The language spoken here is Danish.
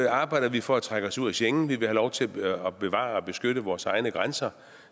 arbejder vi for at trække os ud af schengen vil have lov til at bevare og beskytte vores egne grænser